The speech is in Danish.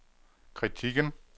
kritikken